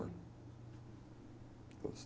Todos.